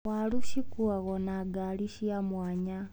Waru cikuagwo nĩ ngari cia mwanya.